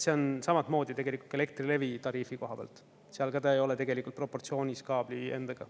See on samamoodi tegelikult Elektrilevi tariifi koha pealt, seal ta ka ei ole tegelikult proportsioonis kaabli endaga.